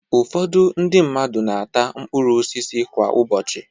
Ụfọdụ ndị mmadu na-ata mkpụrụ osisi kwa ụbọchị.